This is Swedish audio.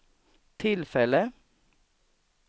tillfälle